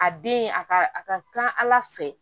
A den a ka a ka ca ala fɛ